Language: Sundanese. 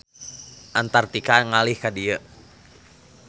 Antartika ngalih ka dieu.